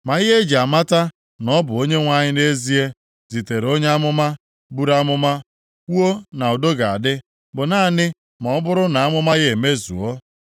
Ma ihe e ji amata na ọ bụ Onyenwe anyị nʼezie, zitere onye amụma buru amụma kwuo na udo ga-adị, bụ naanị ma ọ bụrụ na amụma ya emezuo.”